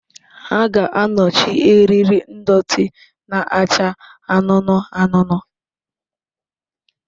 Ha ga-anọchi eriri ndọtị na-acha anụnụ anụnụ.